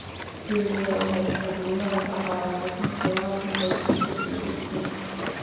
Kenya waxay xornimada ku qaadatay kun iyo sagaal boqol iyo saddex iyo lixdan.